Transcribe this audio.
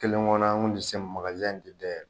Kelen kɔnɔ an tun tɛ se makazin in tɛ da yɛlɛ.